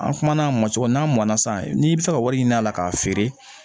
An kumana a mɔn cogo min n'a mɔn na sisan n'i bi se ka wari ɲinin a la k'a feere